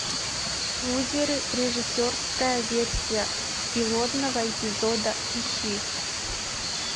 лузеры режиссерская версия пилотного эпизода ищи